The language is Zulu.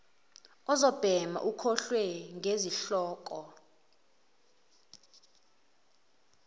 uzobhema ukholwe ngezihloko